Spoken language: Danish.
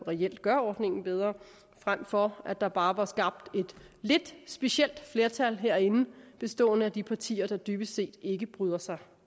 reelt gør ordningen bedre frem for at der bare skabt et lidt specielt flertal herinde bestående af de partier der dybest set ikke bryder sig